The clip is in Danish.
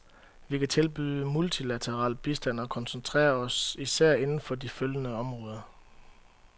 Vi kan tilbyde multilateral bistand og koncentrerer os især inden for følgende områder.